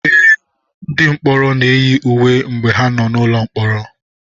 Ee, ndị mkpọrọ na-eyi uwe mgbe ha nọ n'ụlọ mkpọrọ.